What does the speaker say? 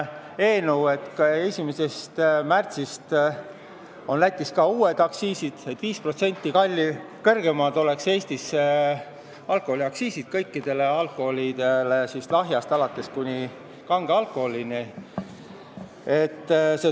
1. märtsist on Lätis ka uued aktsiisid ja valminud on eelnõu, et Eestis oleks kõigi alkoholiliikide aktsiisid 5% kõrgemad, lahjast alkoholist alates kuni kange alkoholini.